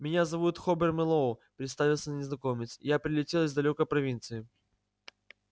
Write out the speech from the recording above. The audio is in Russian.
меня зовут хобер мэллоу представился незнакомец я прилетел из далёкой провинции